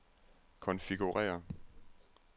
konfigurér